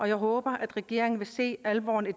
jeg håber regeringen vil se alvoren i